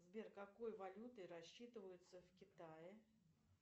сбер какой валютой рассчитываются в китае